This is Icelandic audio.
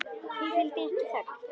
Því fylgdi ekki þögn.